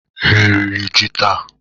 Ha riri ji taa?